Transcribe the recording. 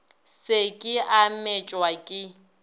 se ke a metšwa ke